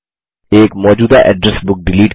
एक मौजूदा address book delete करें